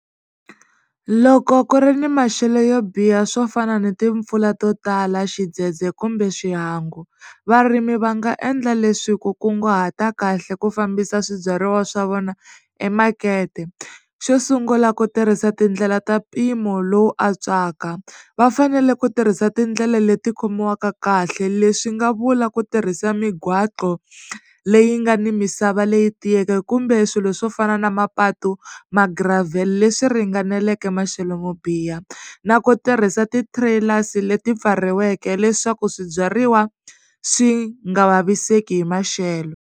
Loko ku ri ni maxelo yo biha swo fana ni timpfula to tala xidzedze kumbe xihangu varimi va nga endla leswi ku kunguhata kahle ku fambisa swibyariwa swa vona emakete xo sungula ku tirhisa tindlela ta mpimo lowu antswaka va fanele ku tirhisa tindlela leti khomiwaka kahle leswi nga vula ku tirhisa migwaqo leyi nga ni misava leyi tiyeke kumbe swilo swo fana na mapatu magiravhele leswi ringaneleke maxelo mo biha na ku tirhisa ti-trailers leti pfariweke leswaku swibyariwa swi nga vaviseki hi maxelo.